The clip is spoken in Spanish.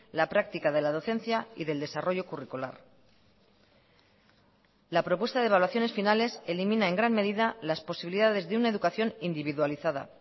la práctica de la docencia y del desarrollo curricular la propuesta de evaluaciones finales elimina en gran medida las posibilidades de una educación individualizada